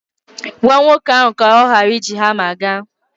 Gwa nwoke ahụ ka ọ ghara iji hama gaa.